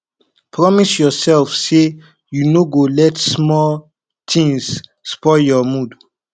promise yourself say you no go let small things spoil your mood